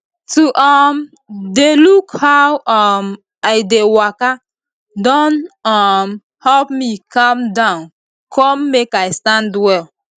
to um dey look how um i dey waka don um help me calm down come make i stand well